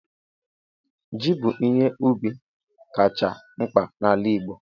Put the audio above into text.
Ji bụ ihe ubi kacha mkpa n'ala Igbo